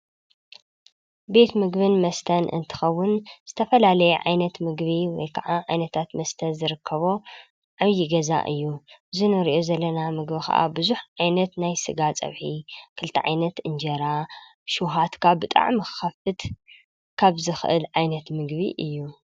ቤት ምግብን መስተን እንትኸውን ዝተፈላለየ ዓይነት ምግቢ ወይ ካዓ ዓይነታት መስተ ዝርከቦ ዓብዪ ገዛ እዩ፡፡ እዚ እንሪኦ ዘለና ምግቢ ካዓ ብዙሕ ዓይነት ናይ ስጋ ፀብሒ ክልተ ዓይነት እንጀራ ሸውሃትካ ብጣዕሚ ክኸፍት ካብ ዝክእል ዓይነት ምግቢ እዩ፡፡